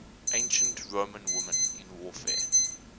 ancient roman women in warfare